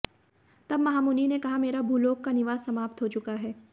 तब महामुनि ने कहा मेरा भूलोक का निवास समाप्त हो चुका है